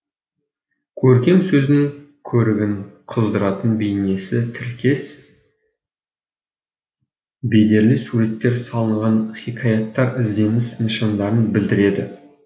көркем сөздің көрігін қыздыратын бейнесі тіркес бедерлі суреттер салынған хикаяттар ізденіс нышандарын білдіреді